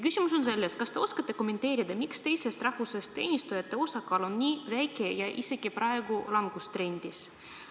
Küsimus on see, kas te oskate kommenteerida, miks teisest rahvusest teenistujate osakaal on nii väike ja praegu isegi langustrendis.